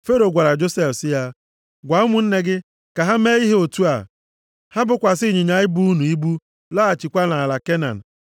Fero gwara Josef sị ya, “Gwa ụmụnne gị, ka ha mee ihe otu a, ha bokwasị ịnyịnya ibu unu ibu laghachikwa nʼala Kenan.